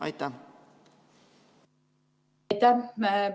Aitäh!